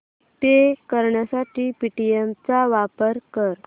पे करण्यासाठी पेटीएम चा वापर कर